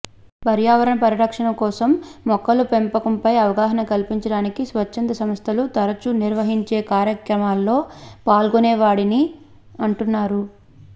పర్యావరణ పరిరక్షణ కోసం మొక్కల పెంపకంపై అవగాహన కల్పించడానికి స్వచ్ఛంద సంస్థలు తరచూ నిర్వహించే కార్యక్రమాల్లో పాల్గొనే వాడని అంటున్నారు